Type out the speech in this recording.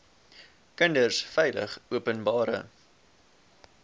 kinders veilig openbare